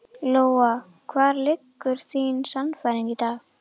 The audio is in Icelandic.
Lóa: Og hvar liggur þín sannfæring í dag?